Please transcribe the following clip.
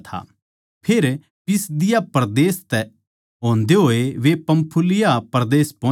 फेर पिसिदिया परदेस तै होंदे होए वे पंफूलिया परदेस पोहोचे